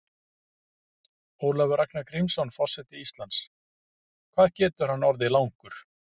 Ólafur Ragnar Grímsson, forseti Íslands: Hvað getur hann orðið langur?